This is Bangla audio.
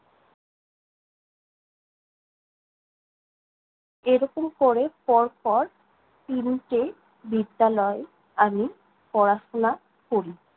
এরকম ক'রে পর পর তিনটে বিদ্যালয়ে আমি পড়াশোনা করি।